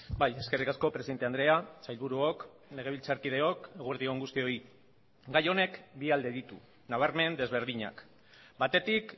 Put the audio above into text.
bai eskerrik asko presidente andrea sailburuok legebiltzarkideok eguerdi on guztioi gai honek bi alde ditu nabarmen desberdinak batetik